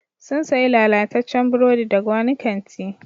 Sun sayi lalataccen burodi daga wani kanti.